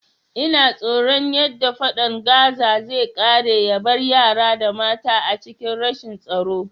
Ina tsoron yadda fadan Gaza sai kare yabar yara da mata a cikin rashin tsaro